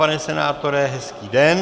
Pane senátore, hezký den.